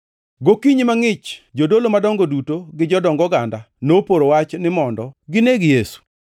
Gokinyi mangʼich, jodolo madongo duto gi jodong oganda noporo wach ni mondo gineg Yesu.